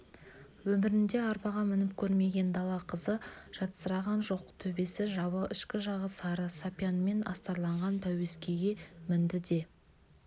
өмірінде арбаға мініп көрмеген дала қызы жатсыраған жоқ төбесі жабық ішкі жағы сары сапиянмен астарланған пәуескеге мінді де